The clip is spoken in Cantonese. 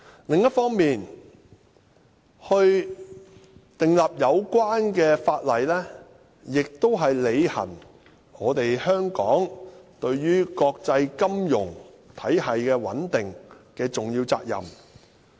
另一方面，訂立有關法例，亦是香港履行對於國際金融體系穩定的重要責任。